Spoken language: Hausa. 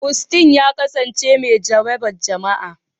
Austin ya kasance mai jaraban jima'i.